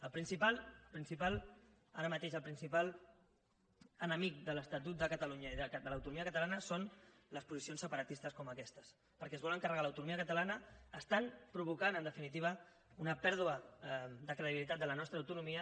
el principal ara mateix el principal enemic de l’estatut de catalunya i de l’autonomia catalana són les posicions separatistes com aquestes perquè es volen carregar l’autonomia catalana estan provocant en definitiva una pèrdua de credibilitat de la nostra autonomia